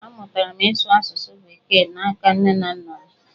Amụtara m ịsụ asụsụ bekee n’aka nne na nna m.